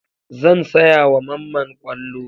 Zan saya wa Mamman ƙwallo.